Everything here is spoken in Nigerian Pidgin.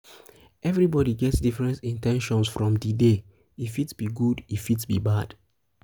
um everybody get different in ten tions from di um day e fit um be good e fit be bad